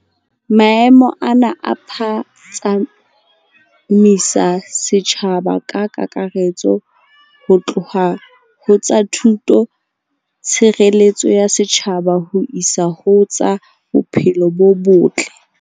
Maemo ana a phatsamisa setjhaba ka kakaretso ho tloha ho tsa thuto, tshireletso ya setjhaba ho isa ho tsa bophelo bo botle.